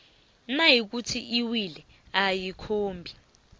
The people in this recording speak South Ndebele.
nayikuthi iwili ayikhombi